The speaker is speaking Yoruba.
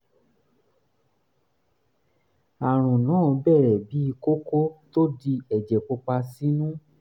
àrùn náà bẹ̀rẹ̀ bíi kókó tó di ẹ̀jẹ̀ pupa sínú